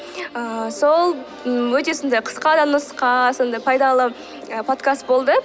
ыыы сол өте сондай қысқа да нұсқа сондай пайдалы і подкаст болды